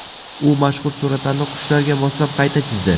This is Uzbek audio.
U mashhur suratlarni qushlarga moslab qayta chizdi .